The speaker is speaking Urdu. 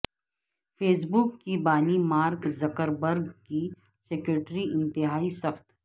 فیس بک کے بانی مارک زکر برگ کی سیکیورٹی انتہائی سخت